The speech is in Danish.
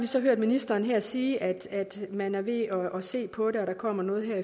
så hørt ministeren her sige at man er ved at se på det og at der kommer noget her